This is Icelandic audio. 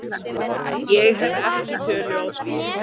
Ég hef ekki tölu á því.